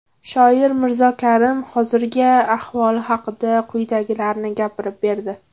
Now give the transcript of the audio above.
Shoir Mirzo Karim hozirgi ahvoli haqida quyidagilarni gapirib berdi.